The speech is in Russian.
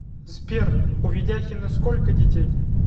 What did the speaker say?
сбер у ведяхина сколько детей